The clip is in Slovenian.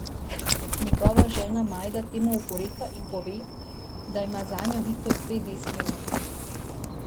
Njegova žena Majda temu oporeka in pove, da ima zanjo Viktor dve desni roki.